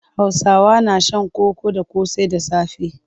Hausawa na shan koko da ƙosai da safe.